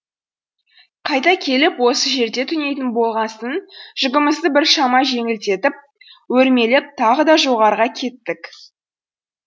қайта келіп осы жерде түнейтін болғасын жүгімізді біршама жеңілдетіп өрмелеп тағы да жоғарға кеттік